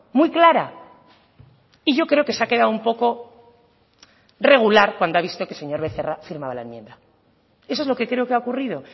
muy clara y yo creo que se ha quedado un poco regular cuando ha visto que el señor becerra firmaba la enmienda eso es lo que creo que ha ocurrido